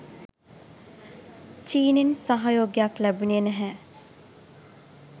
චීනෙන් සහයෝගයක් ලැබුනේ නැහැ